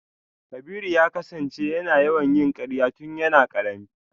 Kabiru ya kasance yana yawan yin karya tun yana karami.